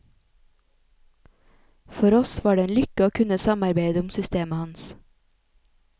For oss var det en lykke å kunne samarbeide om systemet hans.